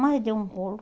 Mas deu um rolo.